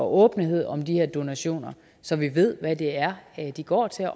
åbenhed om de her donationer så vi ved hvad det er de går til